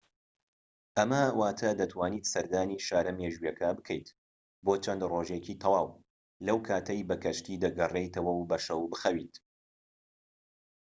ئەمە واتە دەتوانیت سەردانی شارە مێژوییەکە بکەیت بۆ چەند ڕۆژێکی تەواو لەو کاتەی بە کەشتی دەگەڕێیتەوە و بە شەو بخەویت